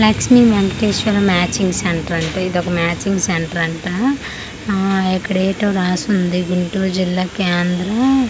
Lakshmi Venkateswara matching centre అంటా ఇది ఒక మ్యాచింగ్ సెంటరు అంట అన్ ఇక్కడ ఏటో రాసి ఉంది గుంటూరు జిల్లా కేంద్రం స--